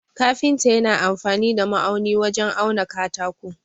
Kafinta yana amfani da ma'auni wajen auna katako.